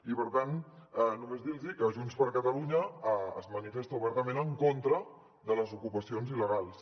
i per tant només dir los que junts per catalunya es manifesta obertament en contra de les ocupacions il·legals